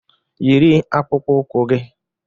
Yiri akpụkpọ ụkwụ gị!